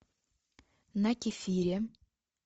на кефире